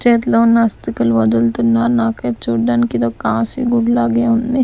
చేతిలో ఉన్నా ఆస్తికలు వదులుతున్నారు నాకు ఇది చూడడానికి ఇది ఒక లాగే ఉంది.